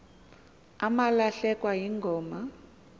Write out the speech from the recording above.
umalahlekwa yingoma kuh